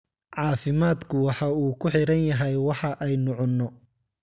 Caafimaadku waxa uu ku xidhan yahay waxa aynu cunno.